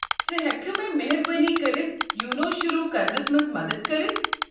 ژٕ ہٮ۪ککھٕ مےٚ مہربٲنی كرِتھ یونو شروٗع کرنس منٛز مدتھ کٔرِتھ؟